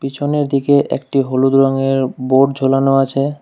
পিছনের দিকে একটি হলুদ রঙের বোর্ড ঝোলানো আছে।